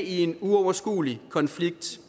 i en uoverskuelig konflikt